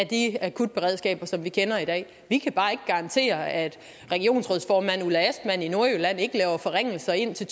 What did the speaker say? de akutberedskaber som vi kender i dag vi kan bare ikke garantere at regionsrådsformand ulla astman i nordjylland ikke laver forringelser indtil